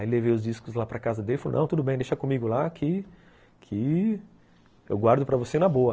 Aí levei os discos lá para casa dele e falei, não, tudo bem, deixa comigo lá que eu guardo para você na boa.